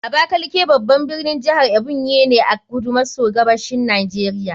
Abakaliki babban birnin jihar Ebonyi ne a kudu maso gabashin Najeriya